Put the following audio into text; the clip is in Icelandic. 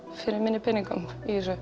fyrir minni peningum